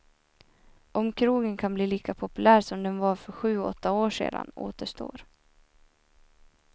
Om krogen kan bli lika populär som den var för sju, åtta år sedan återstår.